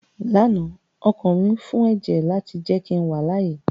Lánàá ọkàn mi fún ẹ̀jẹ̀ láti jẹ́ kí n wà láàyè